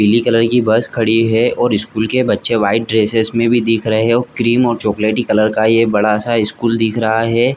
पिली कलर की बस खड़ी है और स्कूल के बच्चे वाइट कलर की ड्रेसेस में भी दिख रहै है क्रीम चॉकलेटी कलर का ये बड़ा स्कूल दिख रहा है।